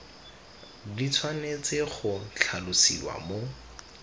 di tshwanetse go tlhalosiwa mo